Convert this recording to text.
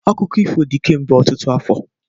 Akụkọ ifo dị kemgbe ọtụtụ afọ.